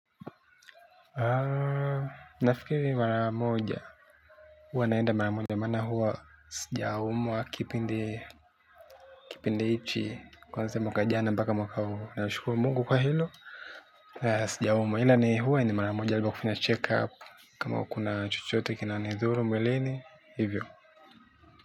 Nafikiri mara moja, huwa naenda mara moja, maana huwa sijaumwa kipindi kipindi hiki, kuanzia mwaka jana mpaka mwaka huu, nashukuru Mungu kwa hilo, sijaumwa, ila ni huwa ni mara moja nilivyofanya check-up, kama kuna chuchote kinanidhuru mwilini, hivyo.